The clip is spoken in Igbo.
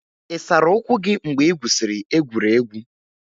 Ị sara ụkwụ gị mgbe ị gwusiri egwuregwu?